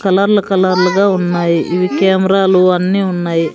కలర్లు కలర్లుగా ఉన్నాయి ఇవి కెమెరాలు అన్నీ ఉన్నాయి.